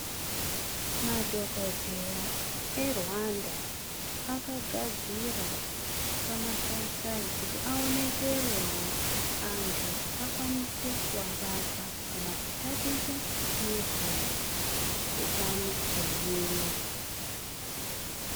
Madhogodheya eRwanda akagadzira pamasaisai, kuti aonekerewo antu, akwanise kuabata, kana kutaticha ngezve utano hwemuiri.